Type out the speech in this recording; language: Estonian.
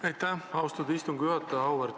Aitäh, austatud istungi juhtaja!